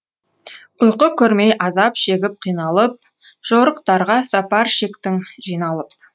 ұйқы көрмей азап шегіп қиналып жорықтарға сапар шектің жиналып